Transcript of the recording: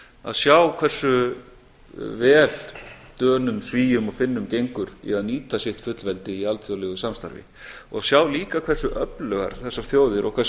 að sjá hversu vel dönum svíum og finnum gengur í að nýta sitt fullveldi í alþjóðlegu samstarfi og sjá líka hversu öflugar þessar þjóðir og hversu